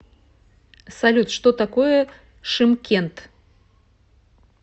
салют что такое шымкент